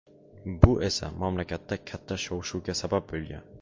Bu esa mamlakatda katta shov-shuvga sabab bo‘lgan.